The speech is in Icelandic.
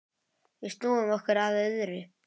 Við snúum okkur að öðru.